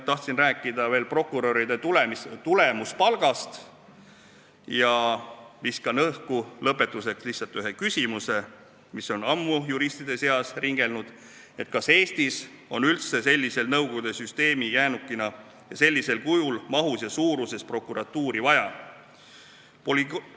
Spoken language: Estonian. Tahtsin veel rääkida prokuröride tulemuspalgast ja viskan lõpetuseks õhku lihtsalt ühe küsimuse, mis on ammu juristide seas ringelnud: kas Eestis on üldse nõukogude süsteemi jäänukina vaja sellisel kujul, sellise mahu ja suurusega prokuratuuri?